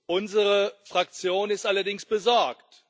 Unsere Fraktion ist allerdings besorgt.